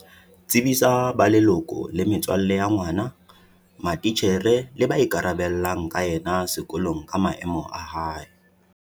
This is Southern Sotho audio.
Tsebisa ba leloko le metswalle ya ngwana, matitjhere le ba ikarabellang ka yena sekolong ka maemo a hae.